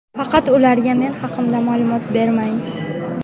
Faqat ularga men haqimda ma’lumot bermang.